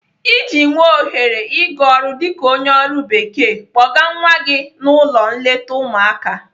Iji nwee ohere ị gaa ọrụ dịka onye ọrụ bekee, kpọga nwa gị n'ụlọ nleta ụmụaka.